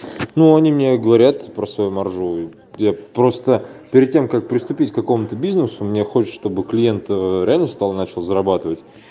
ну они мне говорят про свой моржовый я просто перед тем как приступить к какому-то бизнесу мне хочется чтобы клиент реально встал и начал зарабатывать